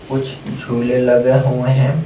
कुछ झूले लगे हुए हैं।